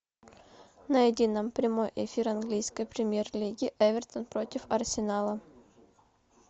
найди нам прямой эфир английской премьер лиги эвертон против арсенала